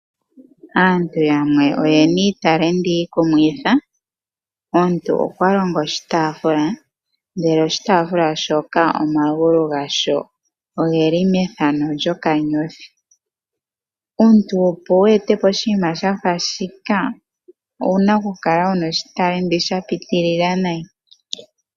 Aantu yamwe oyena iitalenti iikumithi. Omuntu okwa longo oshitafula ndele moshitafula shoka omagulu ga sho ogeli methano lyokanyothi. Omuntu opo wu ete po oshinima shafa shika owu na okukala wu na oshitalenti sha pitilila nayi.